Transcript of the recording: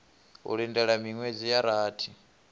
u lindela miṅwedzi ya rathi